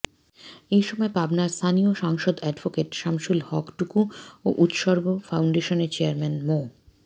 এ সময় পাবনার স্থানীয় সাংসদ অ্যাডভোকেট শামসুল হক টুকু ও উৎসর্গ ফাউন্ডেশনের চেয়ারম্যান মো